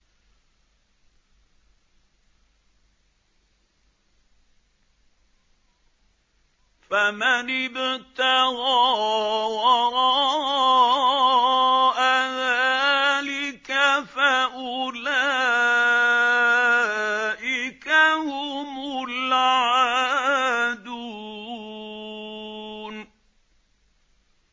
فَمَنِ ابْتَغَىٰ وَرَاءَ ذَٰلِكَ فَأُولَٰئِكَ هُمُ الْعَادُونَ